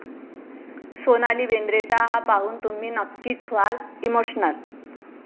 सोनाली बेंद्रेचा हा पाहून तुम्ही नक्कीच व्हाल इमोशनल